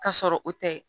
K'a sɔrɔ o tɛ